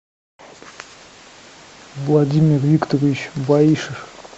владимир викторович баишев